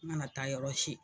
N kana taa yɔrɔ si